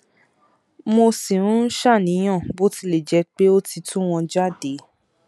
mo ṣì ń ṣàníyàn bó tilẹ jẹ pé ó ti tu wọn jáde